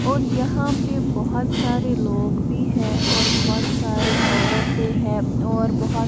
और यहाँ पे बहोत सारे लोग भी हैं और बहोत सारे औरते हैं और बहोत --